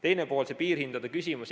Teine pool, see piirhindade küsimus.